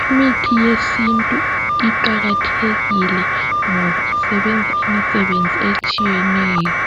.Imithi yesintu iqakathekile ngoba isebenza imisebenzi etshiyeneyo .